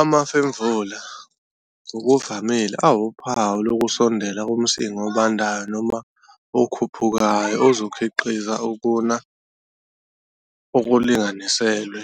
Amafemvula ngokuvamile awuphawu lokusondela komsinga obandayo noma okhuphukayo ozokhiqiza ukuna okulinganiselwe,